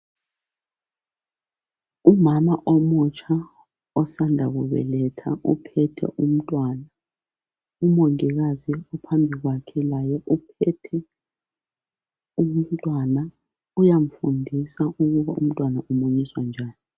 Ngumama omutsha osanda kubeletha uphethe umntwana umongikazi uphambi kwakhe laye uphethe umntwana uyamfundisa ukuba umntwana umunyiswa njani